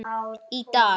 Í dag?